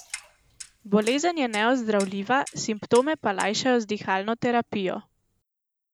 Bolezen je neozdravljiva, simptome pa lajšajo z dihalno terapijo.